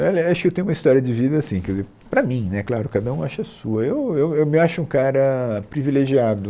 Olha, acho que eu tenho uma história de vida assim, quer dizer, para mim né, claro, cada um acha a sua, eu eu eu me acho um cara privilegiado,